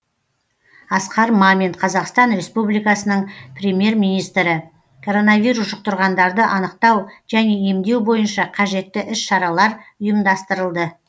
асқар мамин қазақстан республикасының премьер министрі коронавирус жұқтырғандарды анықтау және емдеу бойынша қажетті іс шаралар ұйымдастырылды